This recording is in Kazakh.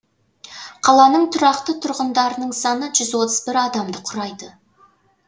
қаланың тұрақты тұрғындарының саны жүз отыз бір адамды құрайды